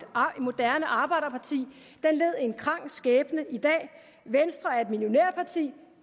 moderne arbejderparti led en krank skæbne i dag venstre er et millionærparti